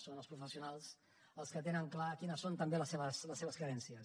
són els professionals els que tenen clar quines són també les seves carències